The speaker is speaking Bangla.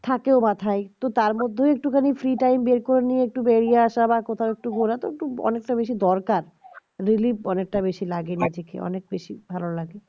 থাকে মাথায় তো তার মধ্যেও একটুখানি free time বের করে নিয়ে একটু বেড়িয়ে আশা বা একটু ঘোরা তো অনেকটা বেসি দরকার relief অনেকটা বেশি লাগে নিজেকে অনেক বেশি ভালো লাগে